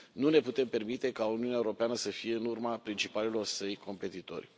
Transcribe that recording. Nu ne putem permite ca Uniunea Europeană să fie în urma principalilor săi competitori.